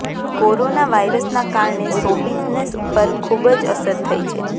corona વાઇરસના કારણે show business પર ખૂબ જ અસર થઈ છે